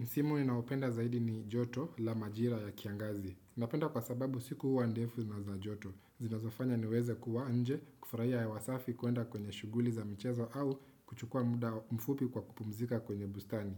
Msimu ninaopenda zaidi ni joto la majira ya kiangazi. Napenda kwa sababu siku hua ndefu na za joto. Zinazofanya niweze kuwa nje kufurahi wasafi kuenda kwenye shuguli za mchezo au kuchukua muda mfupi kwa kupumzika kwenye bustani.